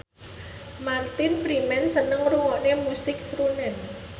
Martin Freeman seneng ngrungokne musik srunen